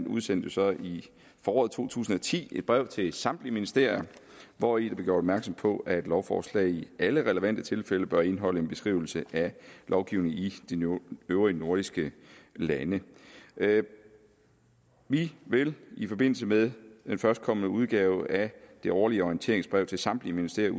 udsendte så i foråret to tusind og ti et brev til samtlige ministerier hvori der blev gjort opmærksom på at lovforslag i alle relevante tilfælde bør indeholde en beskrivelse af lovgivning i de øvrige nordiske lande vi vil i forbindelse med den førstkommende udgave af det årlige orienteringsbrev til samtlige ministerier